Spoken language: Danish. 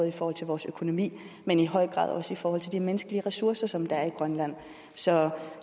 i forhold til vores økonomi men i høj grad også i forhold til de menneskelige ressourcer som der er i grønland så